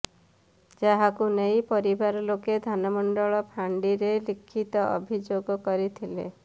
ଯାହାକୁ ନେଇ ପରିବାର ଲୋକେ ଧାନମଣ୍ଡଳ ଫାଣ୍ଡିରେ ଲିଖିତ ଅଭିଯୋଗ କରିଥିଲେ